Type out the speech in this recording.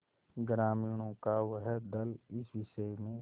ग्रामीणों का वह दल इस विषय में